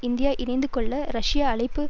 India இணைந்து கொள்ள Russia அழைப்பு